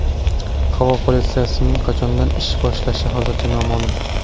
Havo politsiyasining qachondan ish boshlashi hozircha noma’lum.